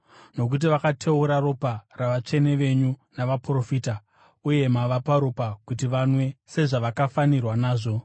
nokuti vakateura ropa ravatsvene venyu navaprofita, uye mavapa ropa kuti vanwe sezvavakafanirwa nazvo.”